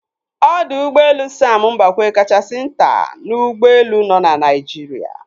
Ọdọ Ụgbọelu Sam Mbakwe kachasi nta n'ụgbọelu nọ na Naijiri.